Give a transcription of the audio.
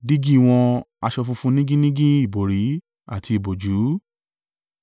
dígí wọn, aṣọ funfun nigínnigín ìbòrí àti ìbòjú.